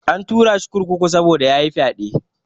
An turashi kurkuku saboda yayi fyaɗe.